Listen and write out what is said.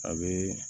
A bɛ